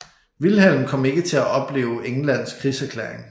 Vilhelm kom ikke til at opleve Englands krigserklæring